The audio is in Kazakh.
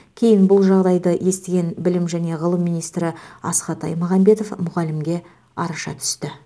кейін бұл жағдайды естіген білім және ғылым министрі асхат аймағамбетов мұғалімге араша түсті